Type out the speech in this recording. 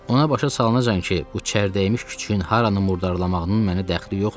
Ona başa salınacan ki, bu çərdəymiş küçüyün haranı murdarlamağının mənə dəxli yoxdur.